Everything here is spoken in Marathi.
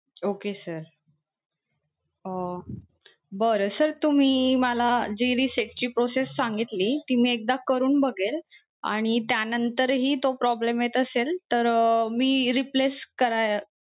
Okay sir अं बरं. sir तुम्ही मला जी reset ची process सांगितली ती मी एकदा करून बघेन, आणि त्यानंतरही तो problem येत असेल तर अं मी replace करायला